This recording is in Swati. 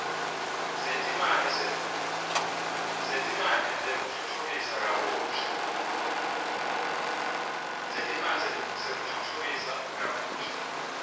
setimali tekutfutfukisa kabusha